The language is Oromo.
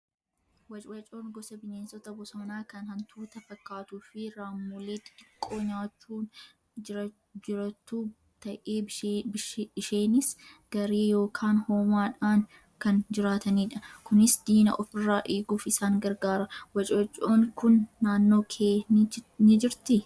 Wacwacoon gosa bineensa bosonaa kan hantuuta fakaattuu fi raammolee xixiqqoo nyaachuun jirattu ta'ee isheenis garee yookaan hoomaadhaan kan jiraatanidha. Kunis diina ofirraa eeguuf isaan gargaara. Wacwacnoon kun naannoo kee ni jirti?